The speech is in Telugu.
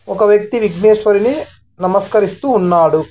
ఒక వ్యక్తి విగ్ణేష్వరుని నమస్కరిస్తూ ఉన్నాడు.